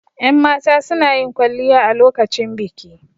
Yan mata sunayin kwalliya a lokacin biki